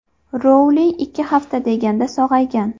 Rouling ikki hafta deganda sog‘aygan.